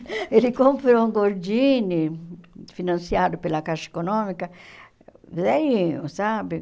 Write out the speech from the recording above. Ele comprou um Gordini, financiado pela Caixa Econômica, velhinho, sabe?